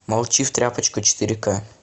молчи в тряпочку четыре ка